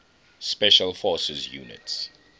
special forces units